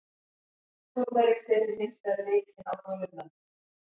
Túrmerik setur hins vegar lit sinn á gulu blönduna.